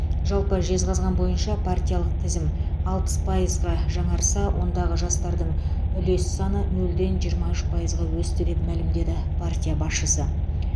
жалпы жезқазған бойынша партиялық тізім алпыс пайызға жаңарса ондағы жастардың үлес саны нөлден жиырма үш пайызға өсті деп мәлімдеді партия басшысы